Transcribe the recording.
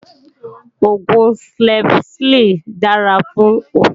Oògùn Strepsil dára fún ọ̀fìnkìn